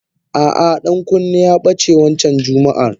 Ah ah Dankunni ya bace wancan jummaah.